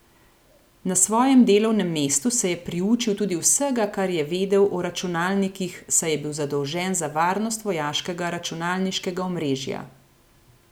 Na svojem delovnem mestu se je priučil tudi vsega, kar je vedel o računalnikih, saj je bil zadolžen za varnost vojaškega računalniškega omrežja.